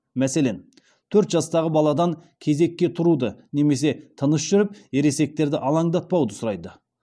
мәселен төрт жастағы баладан кезекке тұруды немесе тыныш жүріп ересектерді алаңдатпауды сұрайды